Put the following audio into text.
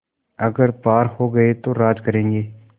अगर पार हो गये तो राज करेंगे